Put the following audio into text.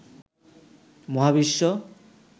মহাবিশ্ব